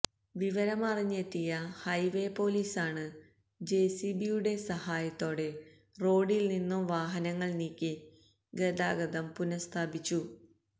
വിവരമറിഞ്ഞെത്തിയ highway പോലീസാണ് J C B യുടെ സഹായത്തോടെ റോഡില്നിന്നും വാഹനങ്ങള് നീക്കി ഗതാഗതം പുനഃസ്ഥാപിച്ചു